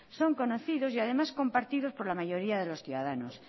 son conocidos y además compartidos por la mayoría de los ciudadanos